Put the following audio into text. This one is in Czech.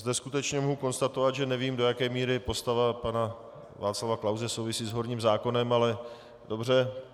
Zde skutečně mohu konstatovat, že nevím, do jaké míry postava pana Václava Klause souvisí s horním zákonem, ale dobře.